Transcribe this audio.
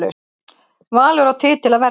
Valur á titil að verja